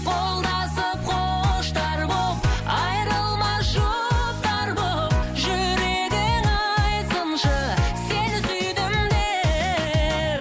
қолдасып құштар боп айырылмас жұптар боп жүрегің айтсыншы сені сүйдім деп